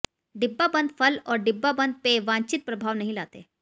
डिब्बाबंद फल और डिब्बाबंद पेय वांछित प्रभाव नहीं लाते